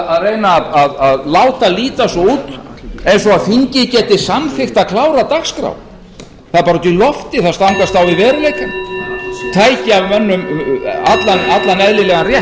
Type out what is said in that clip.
að reyna að láta líta svo út eins og þingið geti samþykkt að klára dagskrá það er bara út í loftið það stangast á við veruleikann tæki af mönnum allan eðlilegan rétt